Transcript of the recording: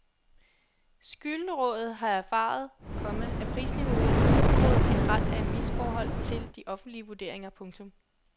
Skyldrådet har erfaret, komma at prisniveauet i området generelt er i misforhold til de offentlige vurderinger. punktum